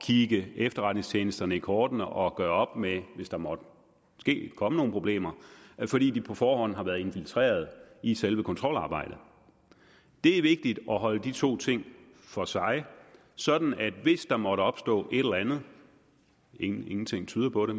kigge efterretningstjenesterne i kortene og gøre op med det hvis der måtte komme nogen problemer fordi de på forhånd har været infiltreret i selve kontrolarbejdet det er vigtigt at holde de to ting for sig sådan at hvis der måtte opstå et eller andet ingenting tyder på det